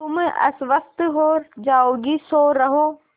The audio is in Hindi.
तुम अस्वस्थ हो जाओगी सो रहो